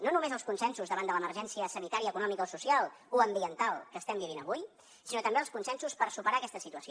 no només els consensos davant de l’emergència sanitària econòmica o social o ambiental que estem vivint avui sinó també els consensos per superar aquesta situació